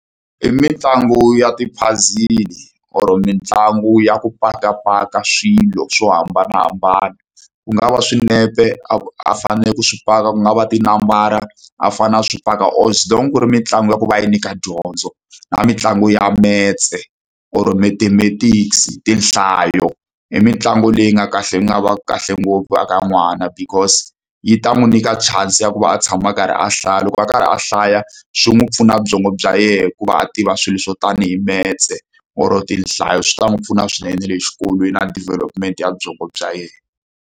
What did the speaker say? I mitlangu ya ti-puzzle or mitlangu ya ku pakapaka swilo swo hambanahambana. Ku nga va swinepe a a faneleke ku swi paka, ku nga va tinambara a fanele a swi paka or ku ri mitlangu ya ku va yi nyika dyondzo. Na mitlangu ya metse or mathematics, tinhlayo. I mitlangu leyi nga kahle yi nga va ka kahle ngopfu eka n'wana because yi ta n'wi nyika chance ya ku va a tshama a karhi a hlaya. Loko a karhi a hlaya, swi n'wi pfuna byongo bya yena ku va a tiva swilo swo tanihi metse or-o tinhlayo. Swi ta n'wi pfuna swinene na le xikolweni na development ya byongo bya yena.